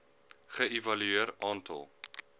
ge evalueer aantal